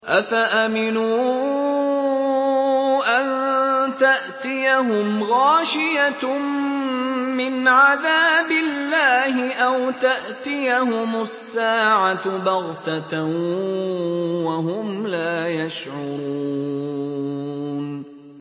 أَفَأَمِنُوا أَن تَأْتِيَهُمْ غَاشِيَةٌ مِّنْ عَذَابِ اللَّهِ أَوْ تَأْتِيَهُمُ السَّاعَةُ بَغْتَةً وَهُمْ لَا يَشْعُرُونَ